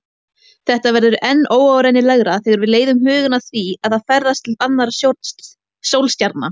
Þetta verður enn óárennilegra þegar við leiðum hugann að því að ferðast til annarra sólstjarna.